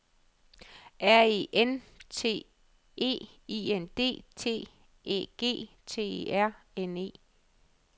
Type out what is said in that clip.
R E N T E I N D T Æ G T E R N E